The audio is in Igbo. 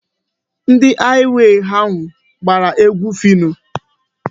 Ndị haịwey ahụ gbara egwu Phyno.